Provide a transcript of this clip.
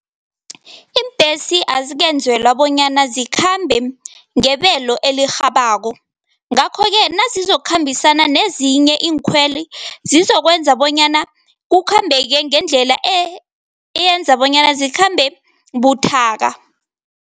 Iimbhesi azikenzelwa bonyana zikhambe ngebelo elirhabako. Ngakho-ke nazizokukhambisana nezinye iinkhweli, zizokwenza bonyana kukhambeke ngendlela eyenza bonyana zikhambe buthaka.